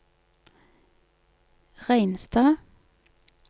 Reinstad